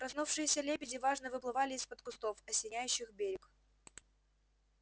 проснувшиеся лебеди важно выплывали из-под кустов осеняющих берег